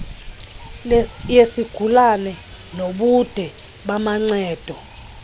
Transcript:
yesigulana nobude bamancedo